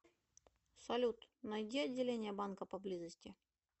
салют найди отделение банка поблизости